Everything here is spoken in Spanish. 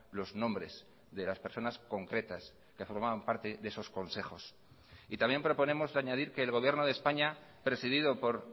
los nombres de las personas concretas que formaban parte de esos consejos y también proponemos añadir que el gobierno de españa presidido por